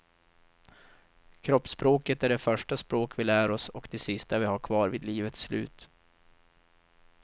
Kroppsspråket är det första språk vi lär oss och det sista vi har kvar vid livets slut.